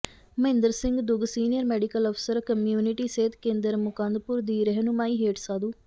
Mahinder Singh Dugg senior medical ਅਫਸਰ community ਸਿਹਤ ਕੇਂਦਰ ਮੁਕੰਦਪੁਰ ਦੀ ਰਹਿਨੁਮਾਈ ਹੇਠ ਸਾਧੂ